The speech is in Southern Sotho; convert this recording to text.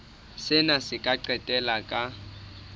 sena se ka qetella ka